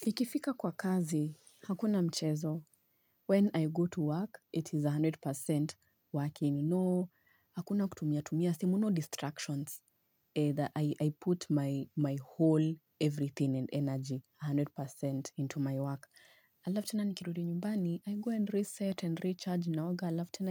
Ikifika kwa kazi, hakuna mchezo. When I go to work, it is a hundred percent working. No, hakuna kutumia, tumia, simu no distractions. Either I put my whole everything and energy, a hundred percent into my work. I left and I